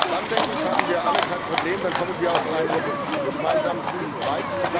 Dann denke ich, haben wir alle kein Problem, dann kommen wir auf einen gemeinsamen grünen Zweig.